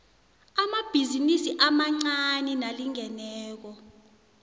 amabhizinisi amancani nalingeneko